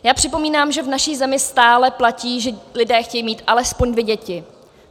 Já připomínám, že v naší zemi stále platí, že lidé chtějí mít alespoň dvě děti.